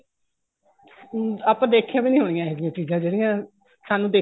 ਹਮ ਆਪਾਂ ਦੇਖੀਆਂ ਵੀ ਨਹੀਂ ਹੋਣੀਆਂ ਇਹ ਜੀਆਂ ਚੀਜ਼ਾਂ ਜਿਹੜੀਆਂ ਸਾਨੂੰ ਦੇਖਣ ਨੂੰ